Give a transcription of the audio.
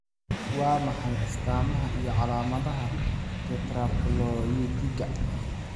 Waa maxay astamaha iyo calaamadaha Tetraploidiga?